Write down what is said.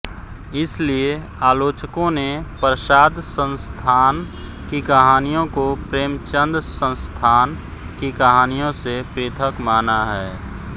इसलिये आलोचकों ने प्रसाद संस्थान की कहानियों को प्रेमचंदसंस्थान की कहानियों से पृथक माना है